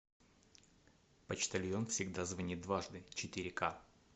почтальон всегда звонит дважды четыре ка